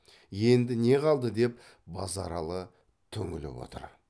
енді не қалды деп базаралы түңіліп отыр